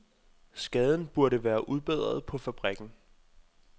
Skaden burde være udbedret på fabrikken.